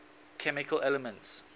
chemical elements